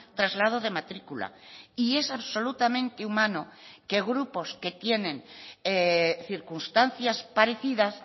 traslado de matrícula y es absolutamente humano que grupos que tienen circunstancias parecidas